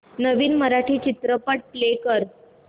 नवीन मराठी चित्रपट प्ले कर